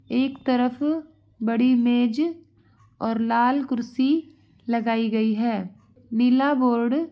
एक तरफ बड़ी मेज और लाल कुर्सी लगायी गयी है | नीला बोर्ड --